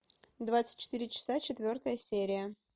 двадцать четыре часа четвертая серия